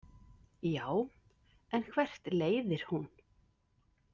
Já, en hvert leiðir hún?